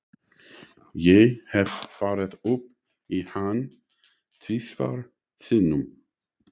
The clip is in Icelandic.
Ég hef farið upp í hann tvisvar sinnum.